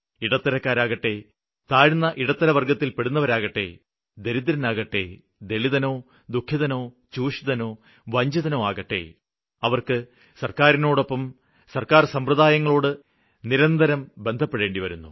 ഇടത്തരക്കാരാകട്ടെ താഴ്ന്ന ഇടത്തരവര്ഗ്ഗത്തില്പ്പെടുന്നവരാകട്ടെ ദരിദ്രനാകട്ടെ ദളിതനോ ദുഖിതനോ ചൂഷിതനോ വഞ്ചിതനോ ആകട്ടെ അവര്ക്ക് സര്ക്കാരിനോടൊപ്പം സര്ക്കാര് സമ്പ്രദായങ്ങളോട് നിരന്തരം ബന്ധപ്പെടേണ്ടിവരുന്നു